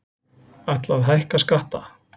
Ætla að hækka skatta